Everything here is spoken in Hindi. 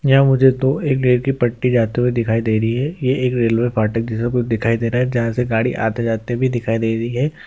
यह मुझे दो एक रेल की पटरी जाते हुए दिखाई दे रही है ये एक रेलवे फाटक जैसा कुछ दिखाई दे रहा है जहां से गाड़ी आते-जाते भी दिखाई दे रही है।